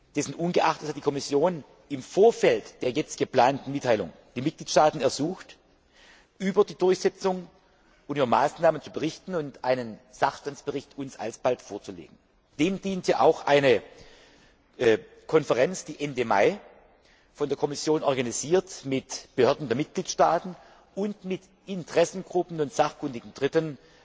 Dessen ungeachtet hat die Kommission im Vorfeld der jetzt geplanten Mitteilung die Mitgliedstaaten ersucht, über die Durchsetzung und über Maßnahmen zu berichten und uns alsbald einen Sachstandsbericht vorzulegen. Dem dient ja auch eine Konferenz, die Ende Mai von der Kommission organisiert und mit Behörden der Mitgliedstaaten und mit Interessengruppen und sachkundigen Dritten